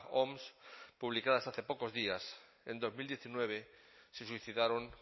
oms publicadas hace pocos días en dos mil diecinueve se suicidaron